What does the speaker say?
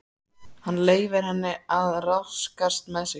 Hann leyfir henni að ráðskast með sig.